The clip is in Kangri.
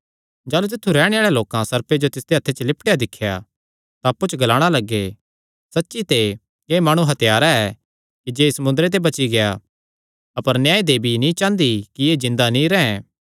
जाह़लू तित्थु रैहणे आल़े लोकां सर्पे जो तिसदे हत्थे च लिपटेया दिख्या तां अप्पु च ग्लाणा लग्गे सच्ची ते एह़ माणु हत्यारा ऐ कि जे समुंदरे ते बची गेआ अपर न्यायदेवी नीं चांह़दी कि एह़ जिन्दा नीं रैंह्